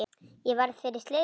Ég varð fyrir slysi,